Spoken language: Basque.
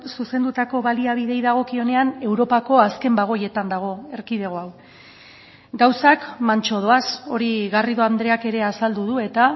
zuzendutako baliabideei dagokionean europako azken bagoietan dago erkidego hau gauzak mantso doaz hori garrido andreak ere azaldu du eta